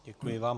Děkuji vám.